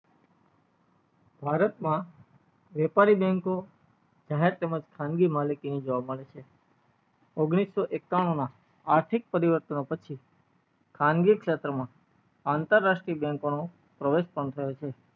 ભારત મા વેપારી bank ઓ ખાનગી માલિકો ની જોવા મળે છે ઓગણીસો એકાણું માં અર્થીક પરિવર્તનો પછી ખાનગી શેત્ર માં અંતર રાષ્ટ્રીય bank ઓ નો પ્રવેશ પણ થયો છે